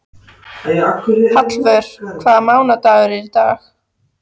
Hallvör, hvaða mánaðardagur er í dag?